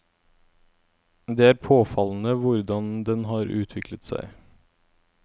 Det er påfallende hvordan den har utviklet seg.